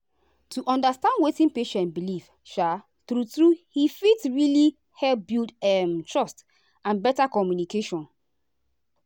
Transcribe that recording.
to understand wetin patient believe um true true he fit really help build um trust and better communication.